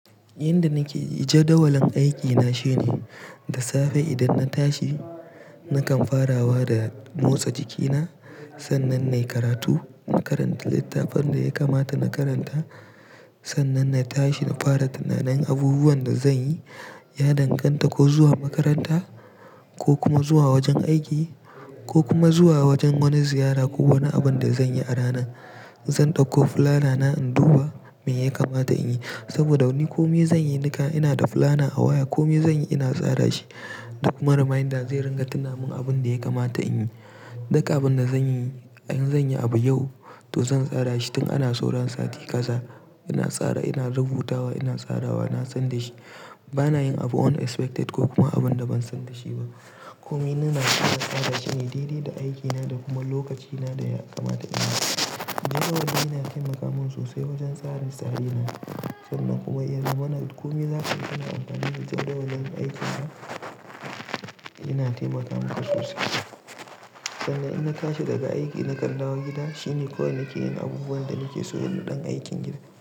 Yanda nake jadawalin aikina shine, da safe idan na tashi nakan farawa da motsa jikina, sannan na yi karatu. Na karanta littafin da ya kamata na karanta, sannan na tashi na fara tunanin abubuwan da zan yi. Ya danganta ko zuwa makaranta ko kuma zuwa wajen aiki ko kuma zuwa wajen wani ziyara ko wani abin da zan yi a rana. Zan ɗauko fulanana in duba me ya kamata in yi. Saboda wani kome zan yi, nika ina da fulana a waya. Kome zan yi ina tsara shi. Duk mara reminder zai ringa tunawa min abin da ya kamata in yi. Duka abin da zan yi, in zan yi abu yau to zan tsara shi tun ana sauran sati ƙaza. Ina tsara, ina rubutawa, ina tsarawa, na san da shi. Bana yin abu unexpected ko kuma abin da ban san da shi ba. Kome ina tsara tsada shine daidai da aikina da kuma lokacina da ya kamata in yi. Jadawali yana taimaka mun sosai wajen tsarin tsarina. Sannan kuma ya zo mana kome za ka iya amfani da jadawalin aikina. Ina taimaka maka sosai. Sannan ina tashi daga aiki na kan dawo gida, shine ko ina ke yin abubuwan da nake so na ɗan aikin gida.